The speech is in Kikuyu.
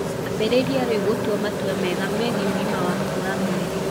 Ambĩrĩrie rĩu gũtua matua mega megiĩ ũgima waku wa mwĩrĩ.